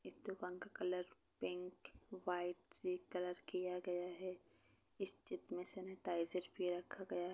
इस दुकान का कलर पिंक व्हाइट से कलर किया गया हैं इस चित्र में सैनिटाइजर भी रखा गया--